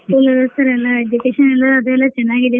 Full education ಅದು ಎಲ್ಲಾ ಚನಾಗಿದೆ sir .